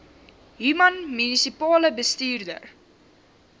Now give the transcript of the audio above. human munisipale bestuurder